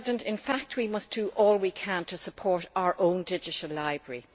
In fact, we must do all we can to support our own digital library.